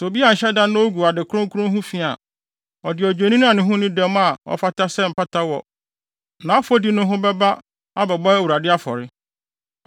“Sɛ obi anhyɛ da na ogu ade kronkron ho fi a, ɔde odwennini a ne ho nni dɛm a ɔfata sɛ mpata wɔ nʼafɔdi no ho bɛba abɛbɔ Awurade afɔre.